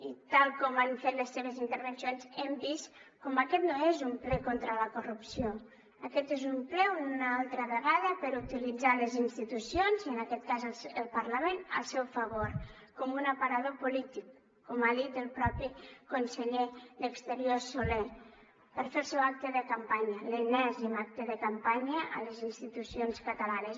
i tal com han fet les seves intervencions hem vist com aquest no és un ple contra la corrupció aquest és un ple una altra vegada per utilitzar les institucions i en aquest cas el parlament al seu favor com un aparador polític com ha dit el mateix conseller d’exteriors solé per fer el seu acte de campanya l’enèsim acte de campanya a les institucions catalanes